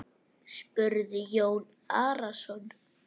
spurði Jón Arason.